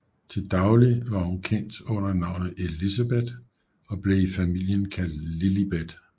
Til daglig var hun kendt under navnet Elizabeth og blev i familien kaldt Lilibet